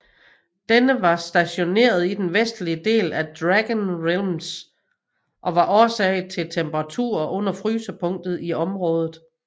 Denne var stationeret i den vestlige del af Dragon Realms og var årsag til temperaturer under frysepunktet i området